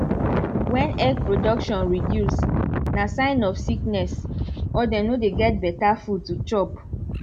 when egg production reduce na sign of sickness or dem no dey get better food to chop